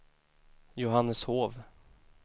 Johanneshov